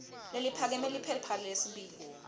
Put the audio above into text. leliphakeme liphepha lesibili